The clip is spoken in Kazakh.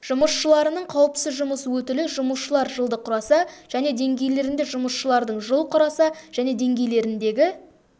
жұмысшыларының қауіпсіз жұмыс өтілі жұмысшылар жылды құраса және деңгейлерінде жұмысшылардың жыл құраса және деңгейлеріндегі